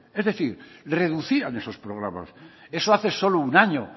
es decir reducían esos programas eso hace solo un año